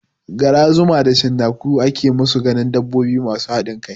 Gara, zuma da cinnaku ake musu ganin dabbobi masu haɗin kai